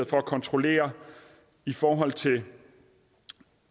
for at kontrollere i forhold til